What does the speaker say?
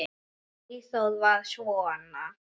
Eyþór var svona.